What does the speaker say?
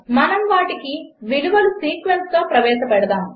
000044 000043 మనము వాటిని విలువల సీక్వెన్స్గా ప్రవేశపెడదాము